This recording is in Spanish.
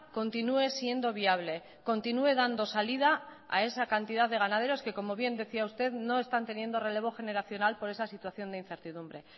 continúe siendo viable continúe dando salida a esa cantidad de ganaderos que como bien decía usted no están teniendo relevo generacional por esa situación de incertidumbre